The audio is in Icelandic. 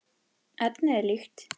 Efnið er líkt.